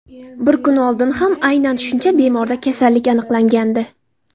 Bir kun oldin ham aynan shuncha bemorda kasallik aniqlangandi.